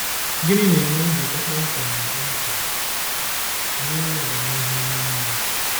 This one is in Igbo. Gịnị na-enwe njikọ kpọmkwem na kpọmkwem na inwe ọganihu ime mmụọ?